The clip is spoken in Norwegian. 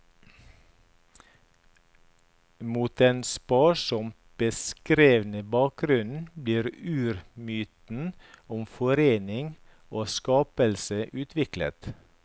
Mot den sparsomt beskrevne bakgrunnen blir urmyten om forening og skapelse utviklet.